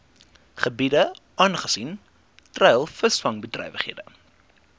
gebiede aangesien treilvisvangbedrywighede